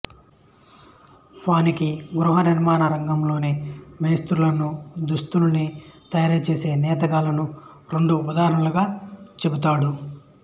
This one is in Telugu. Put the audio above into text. వానికి గృహ నిర్మాణ రంగంలోని మేస్త్రీలను దుస్తుల్ని తయారుచేసే నేతగాళ్ళను రెండు ఉదాహరణలుగా చెబుతాడు